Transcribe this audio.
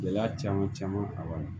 Gɛlɛya caman caman a wa